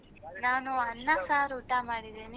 ನಾನ್ ಅನ್ನ ಸಾರ್ ಊಟ ಮಾಡಿದೆ ನೀನು?